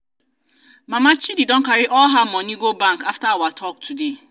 mama chidi don carry all her money go bank after our talk today.